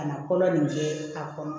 Ka na kɔlɔn nin kɛ a kɔnɔ